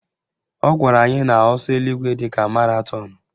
Ọ gwara anyị na ọsọ eluigwe dịka maratọnụ